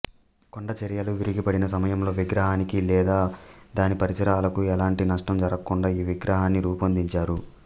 కొండచరియలు విరిగిపడిన సమయంలో విగ్రహానికి లేదా దాని పరిసరాలకు ఎలాంటి నష్టం జరగకుండా ఈ విగ్రహాన్ని రూపొందించారు